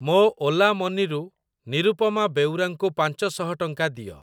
ମୋ Ola Money ରୁ ନିରୁପମା ବେଉରା ଙ୍କୁ ପାଞ୍ଚ ଶହ ଟଙ୍କା ଦିଅ।